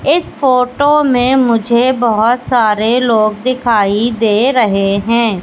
इस फोटो में मुझे बहोत सारे लोग दिखाई दे रहे हैं।